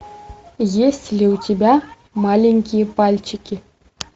есть ли у тебя маленькие пальчики